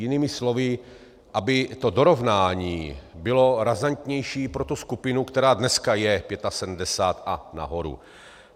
Jinými slovy, aby to dorovnání bylo razantnější pro tu skupinu, která dneska je 75 a nahoru.